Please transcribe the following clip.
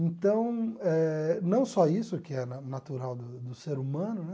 Então eh, não só isso que é na natural do do ser humano, né?